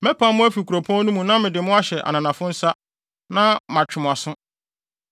Mɛpam mo afi kuropɔn no mu na mede mo ahyɛ ananafo nsa, na matwe mo aso.